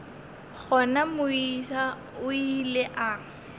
gona moisa o ile a